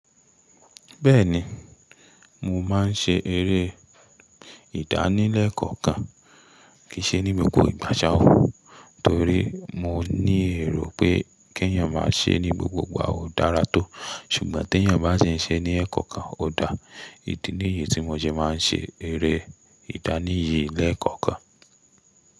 Bẹ́ẹ̀ni, mo máa ń ṣe eré ìdánilẹ́kọ̀ọ́ kan, kì í ṣe ní gbogbo ìgbà ṣha o Torí mo ní èrò pé kí ẹ̀yin máa ṣe é ní gbogbogbà ò dára tó. Ṣùgbọ́n tí ẹ̀yin bá ṣe ní ẹ̀ẹ̀kọ̀kan, ó dáa. Ìdí nìyí tí mo jẹ́ máa ń ṣe eré ìdánìyì lẹ́ẹ̀kọ́kan.